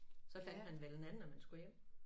Så fandt man vel en anden når man skulle hjem